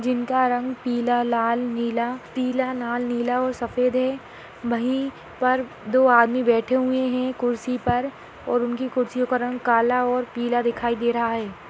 जिनका रंग पीला लाल नीला पीला लाल नीला और सफेद है वही पर दो आदमी बेठे हुए है कुर्सी पर और उनकी कुर्सियों का रंग काला और पीला दिखाई दे रहा है।